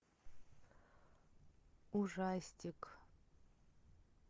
ужастик